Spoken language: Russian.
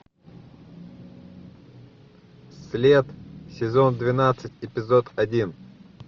след сезон двенадцать эпизод один